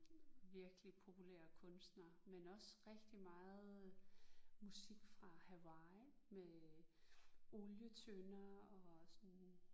Virkelig populære kunstnere men også rigtig meget musik fra Hawaii med olietønder og sådan